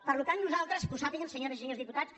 per tant nosaltres que ho sàpiguen senyores i senyors diputats